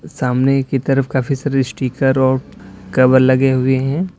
सामने की तरफ काफी सारे स्टिकर और कवर लगे हुए हैं।